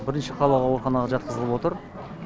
бірінші қалалық ауруханаға жатқызылып отыр